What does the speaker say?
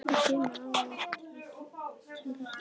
Hvað gerir almenningur til þess að tryggja þetta öryggi?